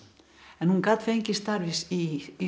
en hún gat fengið starf í